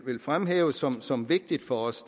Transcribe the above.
vil fremhæve som som vigtigt for os